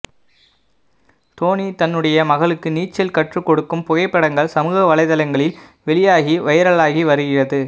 தோனி தன்னுடைய மகளுக்கு நீச்சல் கற்றுக்கொடுக்கும் புகைப்படங்கள் சமூக வலைதளங்களில் வெளியாகி வைலாகி வருகிறது